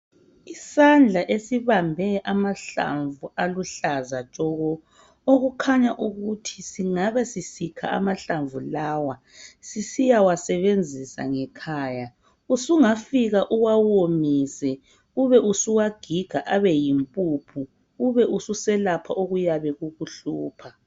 Isandla esibambe amahlamvu aluhlaza tshoko, okukhanya ukuthi singabe sisikha amahlamvu lawa sisiya wasebenzisa ngekhaya, usungafika uwawomise ubesuwagiga abe yimpuphu, ubususelapha okuyabe kukuhlupha.